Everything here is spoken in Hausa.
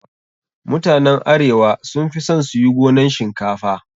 Mutanen arewa sun fi son su yi gonan shinkafa.